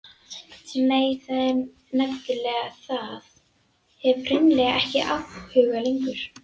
Nei, það er nefnilega það, hef hreinlega ekki áhuga lengur.